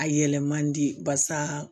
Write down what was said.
A yɛlɛ man di barisa